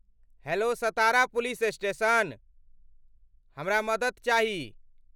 Hello, Satara police station, हमरा मदति चाही?